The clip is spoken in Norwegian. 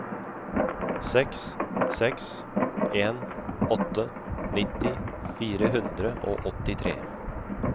seks seks en åtte nitti fire hundre og åttitre